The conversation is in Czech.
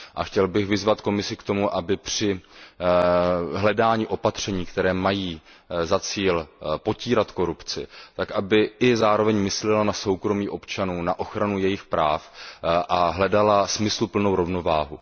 A chtěl bych vyzvat Komisi k tomu, aby při hledání opatření, která mají za cíl potírat korupci, zároveň myslela na soukromí občanů, na ochranu jejich práv a hledala smysluplnou rovnováhu.